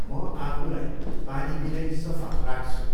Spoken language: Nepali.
म आफूलाई पानीबिनै सफा राख्छु।